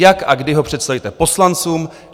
Jak a kdy ho představíte poslancům?